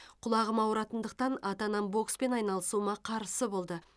құлағым ауыратындықтан ата анам бокспен айналысуыма қарсы болды